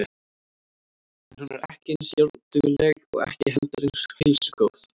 En hún er ekki eins járndugleg og ekki heldur eins heilsugóð.